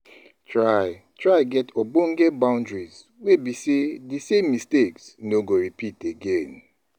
Try Try get ogbonge bountries wey be sey di same mistakes no go repeat again